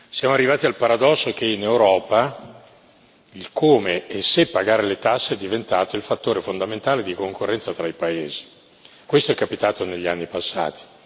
Siamo arrivati al paradosso che in Europa il come e se pagare le tasse è diventato il fattore fondamentale di concorrenza tra i paesi, questo è capitato negli anni passati.